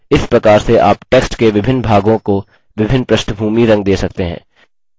इस प्रकार से आप text के विभिन्न भागों को विभिन्न पृष्ठभूमीरंग दे सकते हैं